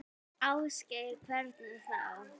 Ásgeir: Hvernig þá?